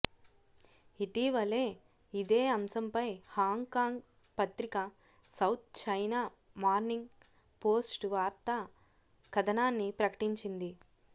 ఇటీవలే ఇదే అంశంపై హాంగ్ కాంగ్ పత్రిక సౌత్ చైనా మార్నింగ్ పోస్టు వార్తా కథనాన్ని ప్రకటించింది